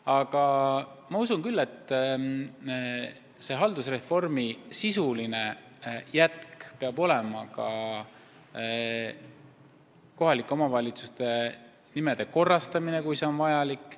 Aga ma usun, et haldusreformi sisuline jätk peab hõlmama ka kohalike omavalitsuste nimede korrastamist, kui see on vajalik.